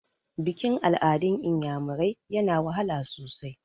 Bikin-al'adun iyamirai yana wahala sosai.